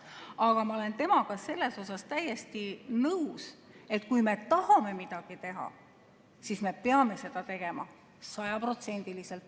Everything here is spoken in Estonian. Aga ma olen temaga selles täiesti nõus, et kui me tahame midagi teha, siis me peame seda tegema sajaprotsendiliselt.